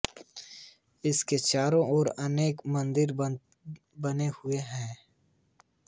इसके चारों ओर अनेक मंदिर बने हुए हैं